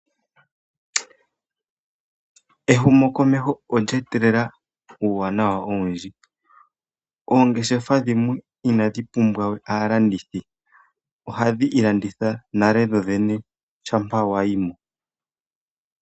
Ehumo komeho olye etelela uuwanawa owundji, oongeshefa dhimwe inadhi pumbwawe aalandithi oha dhi ilanditha nale dho dhene shampa wa yi mo.